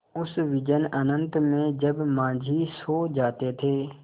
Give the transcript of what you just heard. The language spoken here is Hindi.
उस विजन अनंत में जब माँझी सो जाते थे